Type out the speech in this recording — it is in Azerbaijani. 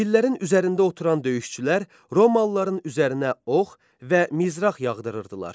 Fillərin üzərində oturan döyüşçülər Romalıların üzərinə ox və mizrax yağdırırdılar.